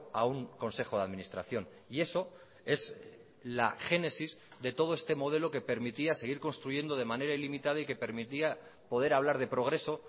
a un consejo de administración y eso es la génesis de todo este modelo que permitía seguir construyendo de manera ilimitada y que permitía poder hablar de progreso